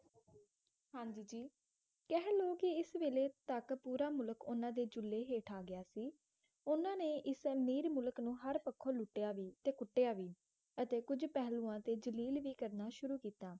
ਹਾਂ ਜੀ ਜੀ ਕਹਿ ਲੋ ਕਿ ਇਸ ਵੇਲ਼ੇ ਤੱਕ ਪੂਰਾ ਮੁਲਕ ਉਨ੍ਹਾਂ ਦੇ ਚੁੱਲ੍ਹੇ ਹੇਠ ਆ ਗਿਆ ਸੀ ਉਨ੍ਹਾਂ ਨੇ ਇਸ ਅਮੀਰ ਮੁਲਕ ਨੂੰ ਹਰ ਪੱਖੋਂ ਲੁੱਟਿਆ ਵੀ ਅਤੇ ਕੁੱਟਿਆ ਅਤੇ ਕੁਝ ਪਹਿਲੂਆਂ ਤੇ ਜਲੀਲ ਵੀ ਕਰਨਾ ਸ਼ੁਰੂ ਕੀਤਾ